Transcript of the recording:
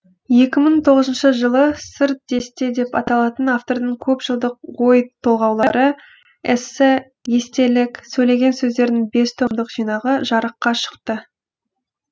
екі мың тоғызыншы жылы сыр десте деп аталатын автордың көп жылдық ой толғаулары эссе естелік сөйлеген сөздерінің бес томдық жинағы жарыққа шықты